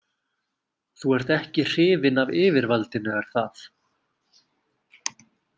Þú ert ekki hrifinn af yfirvaldinu, er það?